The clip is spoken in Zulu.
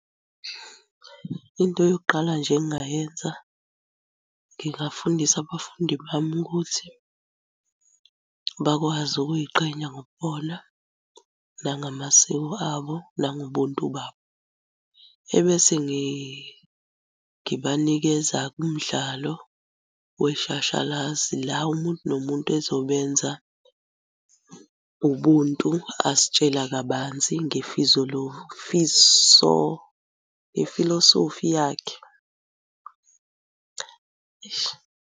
Into yokuqala nje engingayenza ngingafundisa abafundi bami ukuthi bakwazi ukuy'qhenya ngobubona, nangamasiko abo, nangobuntu babo. Ebese ngibanikeza-ke umdlalo weshashalazi la umuntu nomuntu ezobe enza ubuntu asitshela kabanzi ngefilosofi yakhe.